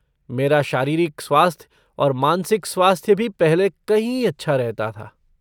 मेरा शारीरिक स्वास्थ्य और मानसिक स्वास्थ्य भी पहले कहीं अच्छा रहता था।